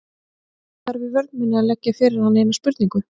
Ég þarf í vörn minni að leggja fyrir hann eina spurningu.